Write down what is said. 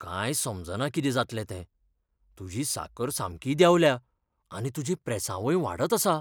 कांय समजना कितें जातलें तें. तुजी साकर सामकी देंवल्या आनी तुजें प्रेसांवय वाडत आसा.